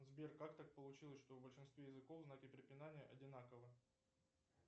сбер как так получилось что в большинстве языков знаки препинания одинаковы